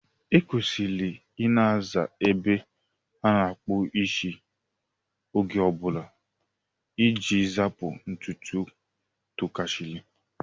E kwesịrị Ị na-aza ebe a na-akpụ isi oge ọbụla iji zapụ ntutu tụkasiri.